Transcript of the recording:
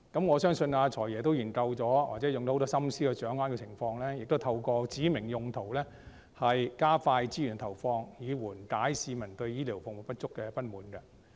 我相信"財爺"已經進行研究或花很多心思來掌握情況，亦透過指明用途來加快資源投放，以緩解市民對醫療服務不足的不滿。